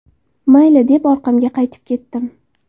Mayli, deb orqamga qaytib ketdim.